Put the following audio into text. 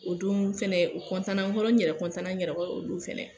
o don fɛnɛ u na n kɔrɔ, n yɛrɛ na n yɛrɛ kɔrɔ o don fɛnɛ.